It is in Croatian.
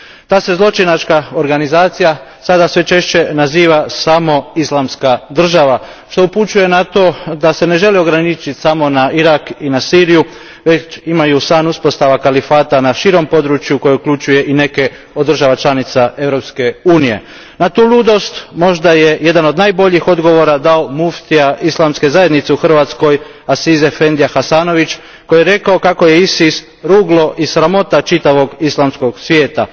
Ta se zločinačka organizacija sada sve češće naziva samo Islamska država, što upućuje na to da se ne želi ograničiti samo na Irak i na Siriju, već da imaju san uspostave kalifata na širem području koje uključuje i neke od država članica Europske unije. Na tu ludost možda je jedan od najboljih odgovora dao muftija Islamske zajednice u Hrvatskoj Aziz efendija Hasanović koji je rekao kako je ISIS ruglo i sramota čitavog islamskog svijeta.